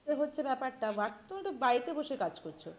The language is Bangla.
কিন্তু হচ্ছে ব্যাপারটা তুমিতো বাড়িতে বসে কাজ করছো